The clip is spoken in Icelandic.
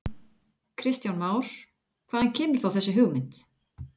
Kristján Már: Hvaðan kemur þá þessi hugmynd?